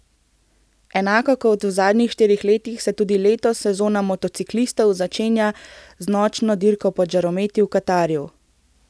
Enako kot v zadnjih štirih letih se tudi letos sezona motociklistov začenja z nočno dirko pod žarometi v Katarju.